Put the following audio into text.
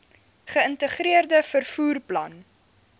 geïntegreerde vervoer plan